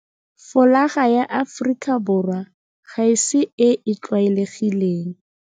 Folaga ya Aforika Borwa ga se e e tlwalegileng.